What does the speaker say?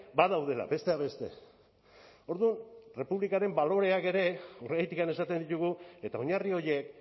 badaudela besteak beste orduan errepublikaren baloreak ere horregatik esaten ditugu eta oinarri horiek